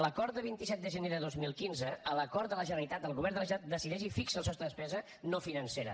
l’acord de vint set de gener de dos mil quinze l’acord de la generalitat del govern de la generalitat decideix i fixa el sostre de despesa no financera